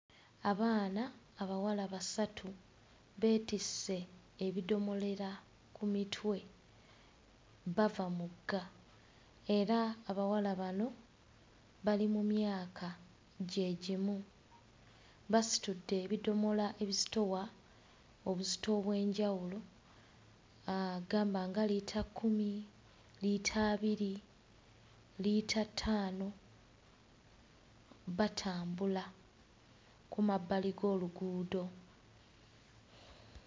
Abaana abawala basatu beetisse ebidomolera ku mitwe bava mugga era abawala bano bali mu myaka gye gimu basitudde ebidomola ebizitowa obuzito obw'enjawulo uh gamba nga liita kkumi, liita abiri, liita ttaano batambula ku mabbali g'oluguudo.